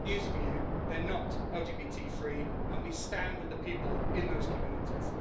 I've got news for you they're not LGBT free, and we stand with the people in those communities.